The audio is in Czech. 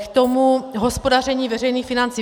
K tomu hospodaření veřejných financí.